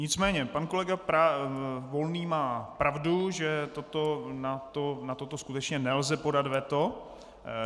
Nicméně pan kolega Volný má pravdu, že na toto skutečně nelze podat veto.